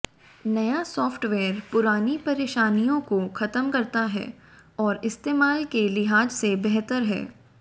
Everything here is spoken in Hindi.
नया सॉफ्टवेयर पुरानी परेशानियों को खत्म करता है और इस्तेमाल के लिहाज से बेहतर है